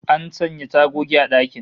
An sanya tagogi a dakin